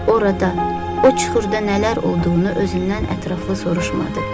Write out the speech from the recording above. Orada, o çuxurda nələr olduğunu özündən ətraflı soruşmadı.